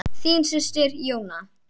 Þín systir, Jóna.